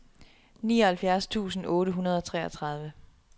nioghalvfjerds tusind otte hundrede og treogtredive